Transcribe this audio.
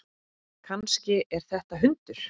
Kannski er þetta hundur?